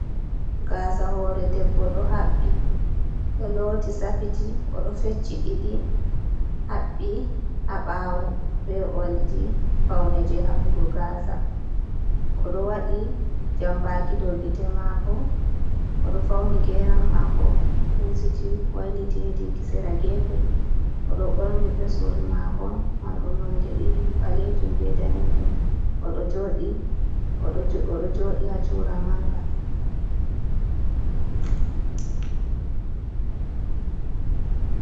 Gasa hoore Debbo ɗo habɓi ɗo looti Safiti oɗo fecci ɗiɗi, habɓi ha ɓawo be oldi Paune je habɓugo gasa. Oɗo waɗi jambaki dou gite mako, oɗo fauni geram mako huusiti wailiti hedi gisera gefe. Oɗo ɓorni veswol mako Marɗum nonɗe ɗiɗi ɓalejum be Danejum oɗo joɗi ha Cura Manga.